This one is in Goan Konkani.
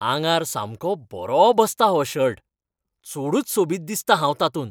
आंगार सामको बरो बसता हो शर्ट. चडूच सोबीत दिसतां हांव तातूंत.